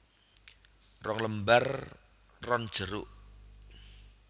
Rong lembar ron jeruk